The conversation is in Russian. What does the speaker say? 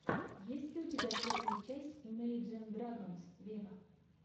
есть ли у тебя первая часть имейджин драгонс вево